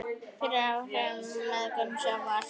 fyrir áhrifum af mengun sjávar.